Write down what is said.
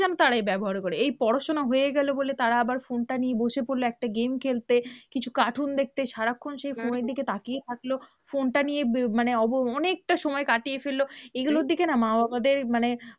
তারা এই ব্যবহার করে, এই পড়াশোনা হয়ে গেলো বলে তারা আবার ফোনটা নিয়ে বসে পড়লো একটা game খেলতে কিছু cartoon দেখতে, সারাক্ষন সেই ফোনের দিকে তাকিয়ে থাকলো, ফোনটা নিয়ে মানে অনেকটা সময় কাটিয়ে ফেললো, এইগুলোর দিকে না মা বাবাদের মানে